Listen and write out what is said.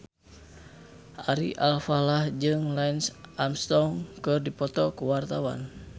Ari Alfalah jeung Lance Armstrong keur dipoto ku wartawan